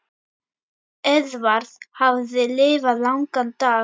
Eðvarð hafði lifað langan dag.